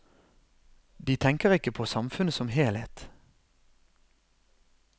De tenker ikke på samfunnet som helhet.